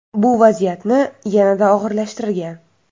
Bu vaziyatni yanada og‘irlashtirgan.